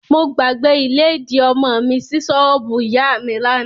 Mo gbàgbé ìlédìí ọmọ mi sí ṣọ́ọ̀bù ìyá mi lánàá.